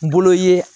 N bolo ye